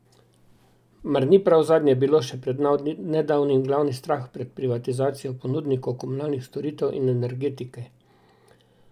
Mar ni prav zadnje bilo še pred nedavnim glavni strah pred privatizacijo ponudnikov komunalnih storitev in energetike?